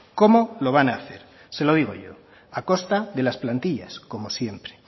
cómo lo van a hacer se lo digo yo a costa de las plantillas como siempre